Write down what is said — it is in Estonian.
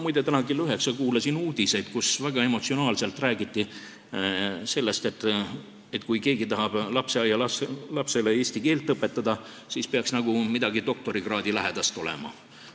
Muide, ma täna kell 9 kuulasin uudiseid, kus väga emotsionaalselt räägiti sellest, et kui keegi tahab lasteaialapsele eesti keelt õpetada, siis peaks tal nagu midagi doktorikraadilähedast olema.